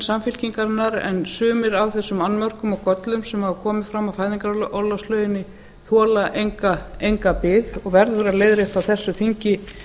samfylkingarinnar en sumir af þessum annmörkum og göllum sem hafa komið fram á fæðingarorlofslöggjöfinni þola enga bið og verður að leiðrétta á þessu þingi